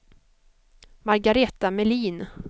Margareta Melin